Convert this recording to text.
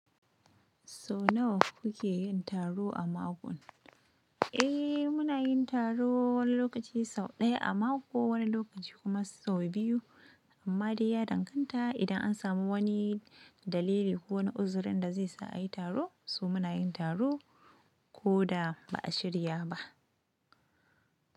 So nawa kuke yin taro a mako? Ehhh, muna yin taro wani lokaci sau ɗaya a mako, wani lokaci kuma sau biyu. Amma dai ya danganta idan an samu wani dalili ko wani uzurin da zai sa a yi taro, so muna yin taro ko da ba a shirya ba.